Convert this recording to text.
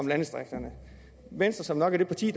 landdistrikterne venstre som nok er et af de